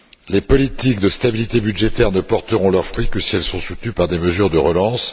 Les politiques de stabilité budgétaire ne porteront leurs fruits que si elles sont soutenues par des mesures de relance.